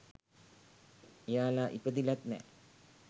එයාලා ඉපදිලත් නැහැ